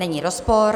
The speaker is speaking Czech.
Není rozpor.